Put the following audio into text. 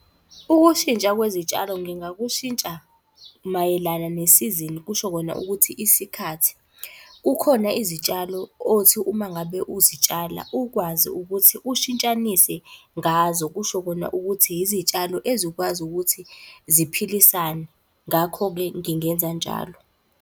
Ukushintsha kwezitshalo ngingakushintsha mayelana nesizini kusho kona ukuthi isikhathi. Kukhona izitshalo othi uma ngabe uzitshala ukwazi ukuthi ushintshanise ngazo. Kusho kona ukuthi izitshalo ezikwazi ukuthi ziphilisane, ngakho-ke ngingenza njalo.